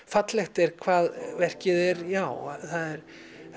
fallegt er hvað verkið er já það er